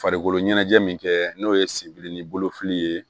Farikolo ɲɛnajɛ min kɛ n'o ye sibiri ni bolo fili ye